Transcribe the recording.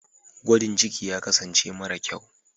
gwajin ciki ya kasance mara kyau